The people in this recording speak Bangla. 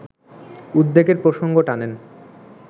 উদ্বেগের প্রসঙ্গ টানেন